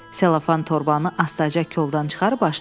Selofan torbanı astaca koldan çıxarıb açdım.